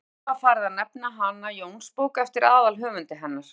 fljótlega var farið að nefna hana jónsbók eftir aðalhöfundi hennar